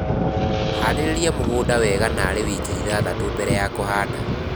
Harĩria mũgũnda wega narĩ wiki ithathatũ mbele ya kũhanda